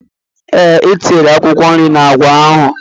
Ee, etinyere akwụkwọ nri n'agwa ahụ.